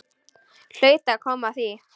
Hlaut að koma að því.